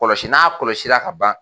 Kɔlɔsi n'a kɔlɔsi la ka ban